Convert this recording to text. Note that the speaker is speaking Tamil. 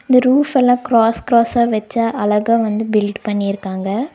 இந்த ரூப் எல்லா கிராஸ் கிராஸ் வச்ச அழகா வந்து பில்ட் பண்ணி இருக்காங்க.